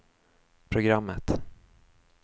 programmet